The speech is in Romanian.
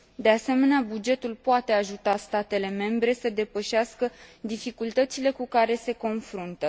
De asemenea, bugetul poate ajuta statele membre să depășească dificultățile cu care se confruntă.